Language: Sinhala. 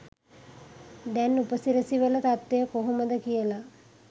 දැන් උපසිරැසි වල තත්වය කොහොමද කියල